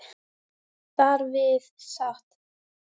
Þar við sat.